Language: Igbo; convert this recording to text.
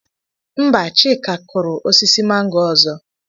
Mba, Chika kụrụ osisi mango ọzọ.